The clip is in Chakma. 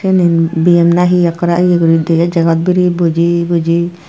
inin bm na he ekkore he guri ye tege jegot biri buji buji.